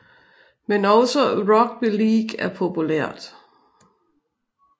Men også rugby league er populært